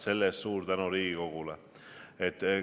Selle eest suur tänu Riigikogule!